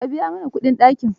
Ka biya mana kudin dakin?